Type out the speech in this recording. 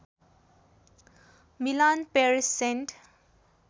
Milan Paris saint